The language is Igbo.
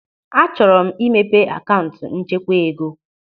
Achọrọ m imepe akaụntụ nchekwa ego.